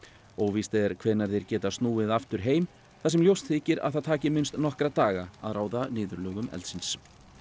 óvíst er hvenær þeir geta snúið aftur heim þar sem ljóst þykir að það taki minnst nokkra daga að ráða niðurlögum eldsins